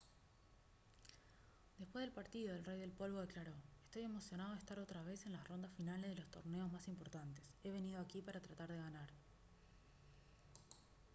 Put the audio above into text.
después del partido el rey del polvo declaró: «estoy emocionado de estar otra vez en las rondas finales de los torneos más importantes. he venido aquí para tratar de ganar»